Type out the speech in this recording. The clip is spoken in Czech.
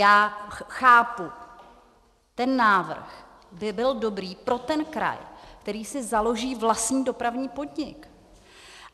Já chápu, ten návrh by byl dobrý pro ten kraj, který si založí vlastní dopravní podnik.